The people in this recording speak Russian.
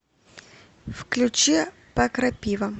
включи покрапива